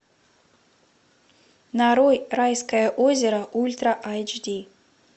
нарой райское озеро ультра эйч ди